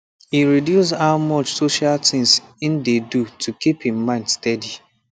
e reduce how much social things e dey do to keep him mind steady